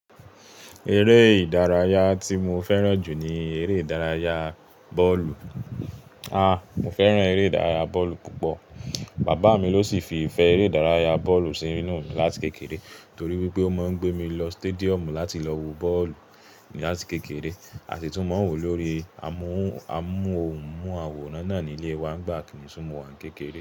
Eré ìdárayá tí mo fẹ́ràn jù ní eré ìdárayá bọ́ọ̀lù. Ah! Mo fẹ́ràn eré ìdárayá bọ́ọ̀lù púpọ̀. Bàbá mi ló sì fi ìfẹ́ eré ìdárayá bọ́ọ̀lù sí inú mi láti kékeré torí pé ó máa ń gbé mi lọ stadium láti lọ wo bọ́ọ̀lù láti kékeré, a sì tún máa ń wòó lórí amóhùnmáwòrán náà ní ilé wa nígbà kí mo si wa ni kékeré.